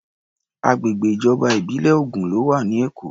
Agbègbè ìjọba ìbílẹ̀ ogún ló wà ní Èkó.